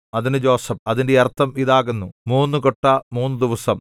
അതിന് യോസേഫ് അതിന്റെ അർത്ഥം ഇതാകുന്നു മൂന്നു കൊട്ട മൂന്നുദിവസം